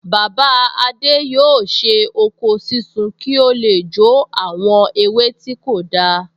Bàbá adé yóò ṣe oko sísun ki o le jó àwọn ewé tí kò dáa